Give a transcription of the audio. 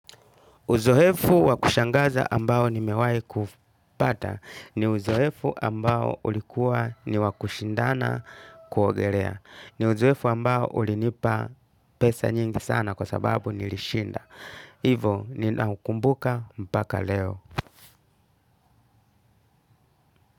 Uzoefu wakushangaza ambao nimewahi kupata ni uzoefu ambao ulikua ni wakushindana kuogelea. Ni uzoefu ambao ulinipa pesa nyingi sana kwa sababu nilishinda. Hivo ninaukumbuka mpaka leo.